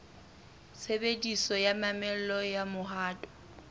tshebediso ya mamello ya mohato